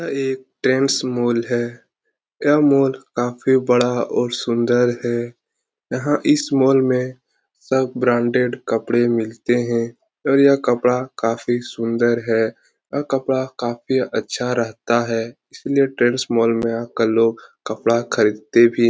यह एक Trends mall है। यह मॉल काफ़ी बड़ा और सुंदर है। यहाँ इस मॉल में सब ब्रान्डेड कपड़े मिलते हैं और यह कपड़ा काफ़ी सुंदर है। यह कपड़ा काफ़ी अच्छा रहता है इसलिए ट्रेंड्स मॉल में आकर लोग कपड़ा खरीदते भी--